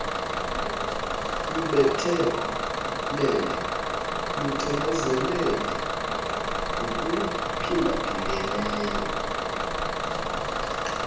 lubethelele lucinezele ngokuphindaphindeneyo